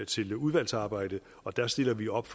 til udvalgsarbejdet og der stiller vi op